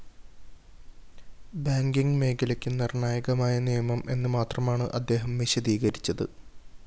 banking മേഖലയ്ക്ക് നിര്‍ണായകമായ നിയമം എന്നു മാത്രമാണ് അദ്ദേഹം വിശദീകരിച്ചത്